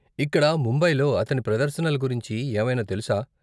ఇక్కడ ముంబైలో అతని ప్రదర్శనల గురించి ఏవైనా తెలుసా?